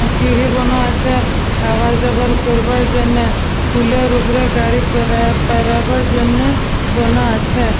সিঁড়ি বানা আছে আওয়া যাওয়ার করবার জন্য | পুলের ওপরে গাড়ি পারাবার জন্য বানা আছে |